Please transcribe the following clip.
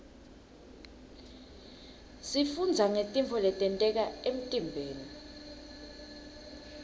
sifundza ngetintfo letenteka emtiimbeni